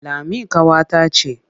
Lami ƙawata ce.